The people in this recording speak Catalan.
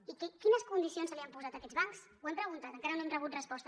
i quines condicions s’han posat a aquests bancs ho hem preguntat encara no hem rebut resposta